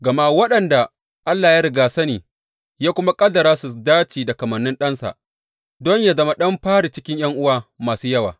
Gama waɗanda Allah ya rigyasani ya kuma ƙaddara su dace da kamannin Ɗansa, don yă zama ɗan fari cikin ’yan’uwa masu yawa.